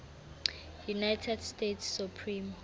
united states supreme